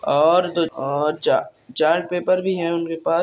और दो चा चार्ट पेपर भी है उनके पास।